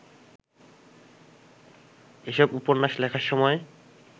এসব উপন্যাস লেখার সময়